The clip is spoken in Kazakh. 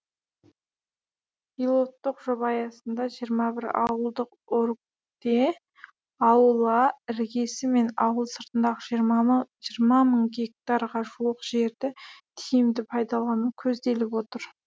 пилоттық жоба аясында жиырма бір ауылдық округте аула іргесі мен ауыл сыртындағы жиырма мың гектарға жуық жерді тиімді пайдалану көзделіп отыр